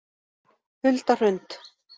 Hulda Hrund